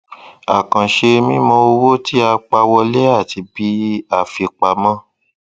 àkànṣe mímọ owó tí a pa wọlé àti bí a fi pamọ